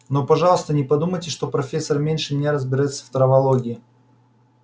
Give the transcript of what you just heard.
но пожалуйста не подумайте что профессор меньше меня разбирается в травологии